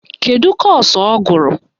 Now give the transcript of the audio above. Kedu kọ́ọ̀sụ̀ ọ gụrụ?